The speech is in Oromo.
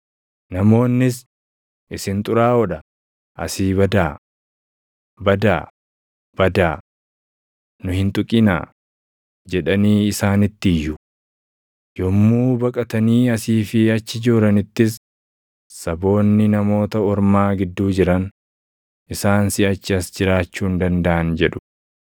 Namoonnis, “Isin xuraaʼoo dha! Asii badaa! Badaa! Badaa! Nu hin tuqinaa!” jedhanii isaanitti iyyu. Yommuu baqatanii asii fi achi jooranittis saboonni Namoota Ormaa gidduu jiran, “Isaan siʼachi as jiraachuu hin dandaʼan” jedhu.